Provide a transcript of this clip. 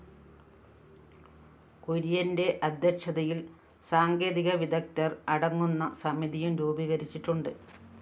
കുര്യന്റെ അധ്യക്ഷതയില്‍ സാങ്കേതികവിദഗ്ധര്‍ അടങ്ങുന്ന സമിതിയും രൂപീകരിച്ചിട്ടുണ്ട്